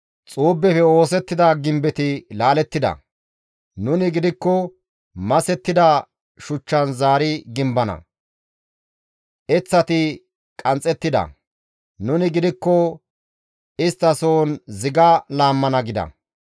«Xuubeppe oosettida gimbetti laalettida; nuni gidikko masettida shuchchan zaari gimbana; eththati qanxxettida; nuni gidikko isttasohon ziga laammana» gida.